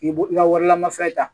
K'i b'o i ka wari lamafɛn ta